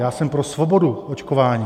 Já jsem pro svobodu očkování.